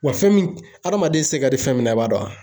Wa fɛn min, hadamaden se ka di fɛn min na i b'a dɔnwa